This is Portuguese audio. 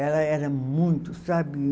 Ela era muito, sabe?